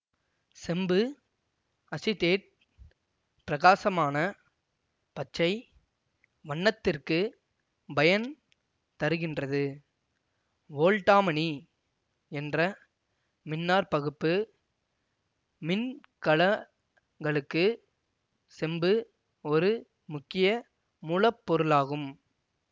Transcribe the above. செம்பு அசிடேட் பிரகாசமான பச்சை வண்ணத்திற்குப் பயன் தருகின்றது வோல்டாமனி என்ற மின்னாற்பகுப்பு மின்கலங்களுக்கு செம்பு ஒரு முக்கிய மூல பொருளாகும்